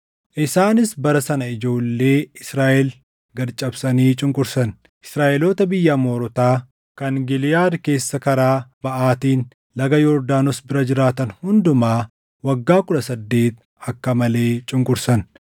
isaanis bara sana ijoollee Israaʼel gad cabsanii cunqursan. Israaʼeloota biyya Amoorotaa kan Giliʼaad keessa karaa baʼaatiin laga Yordaanos bira jiraatan hundumaa waggaa kudha saddeet akka malee cunqursan.